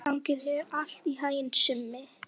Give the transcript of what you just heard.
Gangi þér allt í haginn, Simmi.